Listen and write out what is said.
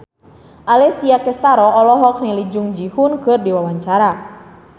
Alessia Cestaro olohok ningali Jung Ji Hoon keur diwawancara